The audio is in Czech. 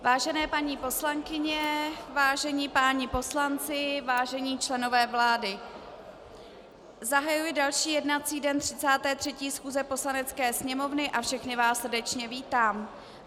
Vážené paní poslankyně, vážení páni poslanci, vážení členové vlády, zahajuji další jednací den 33. schůze Poslanecké sněmovny a všechny vás srdečně vítám.